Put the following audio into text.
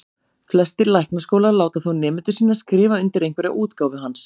Flestir læknaskólar láta þó nemendur sína skrifa undir einhverja útgáfu hans.